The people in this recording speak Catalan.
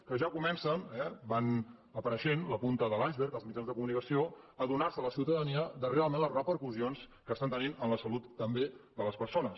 que ja co·mencen va apareixent la punta de l’icebergjans de comunicació a adonar·se la ciutadania de realment les repercussions que estan tenint en la salut també de les persones